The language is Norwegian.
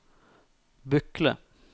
Bykle